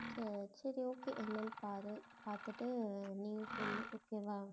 அஹ் சரி okay என்னன்னு பாரு பார்த்துட்டு நீ சொல்லு okay வா